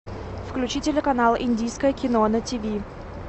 включи телеканал индийское кино на тв